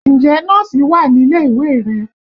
Ǹjẹ́ Nọ́ọ̀sì wà nílé ìwé rẹ?